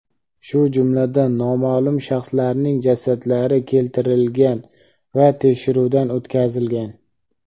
shu jumladan noma’lum shaxslarning jasadlari keltirilgan va tekshiruvdan o‘tkazilgan.